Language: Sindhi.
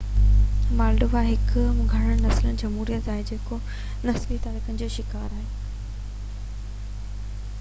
مالڊووا هڪ گهڻ نسلي جهموريت آهي جيڪو نسلي تڪرارن جو شڪار آهي